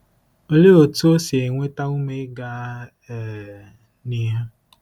Olee otú o si enweta ume ịga um n'ihu?